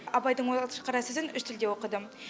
абайдың он алтыншы қара сөзін үш тілде оқыдым